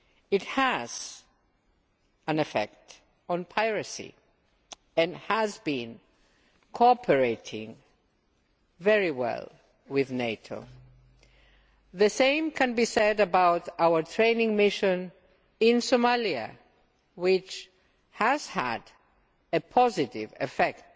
It has an effect on piracy and it has been cooperating very well with NATO. The same can be said about our training mission in Somalia, which has had a positive effect